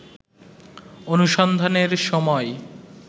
অনুসন্ধানের সময়